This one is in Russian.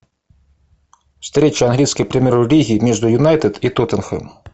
встреча английской премьер лиги между юнайтед и тоттенхэм